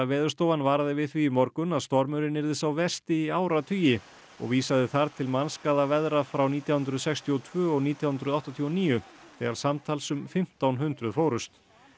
Veðurstofan varaði við því í morgun að stormurinn yrði sá versti í áratugi og vísaði þar til mannskaðaveðra frá nítján hundruð sextíu og tvö og nítján hundruð áttatíu og níu þegar samtals um fimmtán hundruð fórust